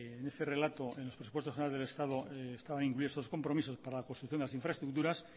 en ese relato en los presupuestos generales del estado estaban incluidos estos compromisos para la construcción de las infraestructuras